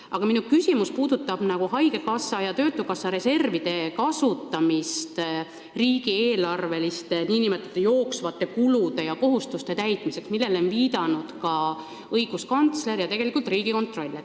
Aga minu küsimus puudutab haigekassa ja töötukassa reservide kasutamist riigieelarveliste nn jooksvate kulude ja kohustuste täitmiseks, millele on viidanud õiguskantsler ja tegelikult ka Riigikontroll.